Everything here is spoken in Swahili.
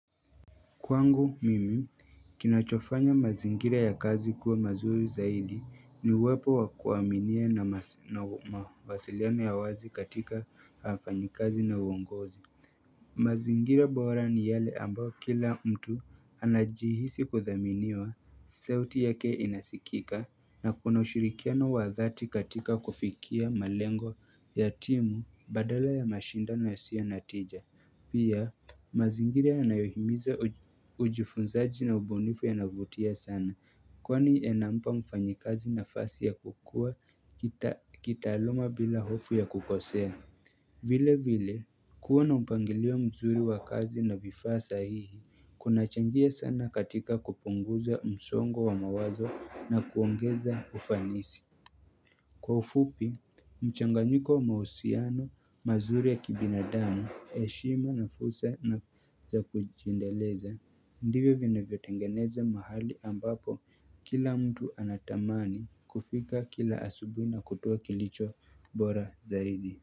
Kwangu mimi kinachofanya mazingira ya kazi kuwa mazuri zaidi ni uwepo wa kuaminia na mawasiliano ya wazi katika wafanyikazi na uongozi. Mazingira bora ni yale ambayo kila mtu anajihisi kuthaminiwa, sauti yake inasikika na kuna ushirikiano wa dhati katika kufikia malengo ya timu badala ya mashindano yasiyo na tija. Pia mazingira yanayohimiza ujifunzaji na ubunifu yanavutia sana Kwani inampa mfanyikazi nafasi ya kukuwa kitaaluma bila hofu ya kukosea vile vile kuwa na mpangilio mzuri wa kazi na vifaa sahihi kunachangia sana katika kupunguza msongo wa mawazo na kuongeza ufanisi Kwa ufupi, mchanganyiko wa mahusiano mazuri ya kibinadamu, heshima na fursa na za kujindeleza, ndivvyo vinavyotengeneza mahali ambapo kila mtu anatamani kufika kila asubuhi na kutoa kilicho bora zaidi.